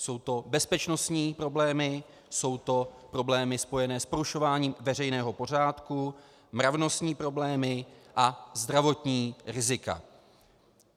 Jsou to bezpečnostní problémy, jsou to problémy spojené s porušováním veřejného pořádku, mravnostní problémy a zdravotní rizika.